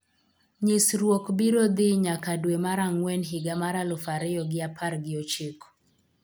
Nyisruok biro dhii nyaka dwe mar angwen higa mar aluf ariyo gi apar gi ochiko